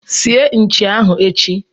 sie Nchi ahụ echi!